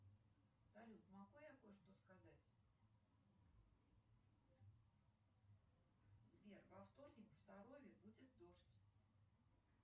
салют могу я кое что сказать сбер во вторник в сарове будет дождь